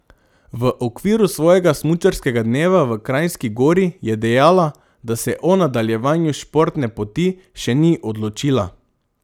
V okviru svojega smučarskega dneva v Kranjski Gori je dejala, da se o nadaljevanju športne poti še ni odločila.